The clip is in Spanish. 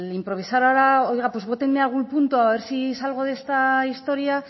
improvisar ahora el oiga pues vóteme algún punto a ver si salgo de esta historia